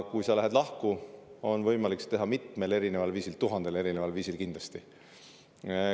Kui minnakse lahku, siis on võimalik seda teha mitmel viisil, tuhandel viisil kindlasti.